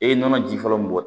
E ye nɔnɔ ji fɔlɔ min bɔ